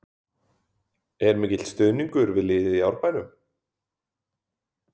Er mikill stuðningur við liðið í Árbænum?